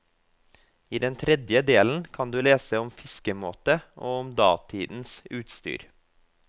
I den tredje delen kan du lese om fiskemåte og om datidens utstyr.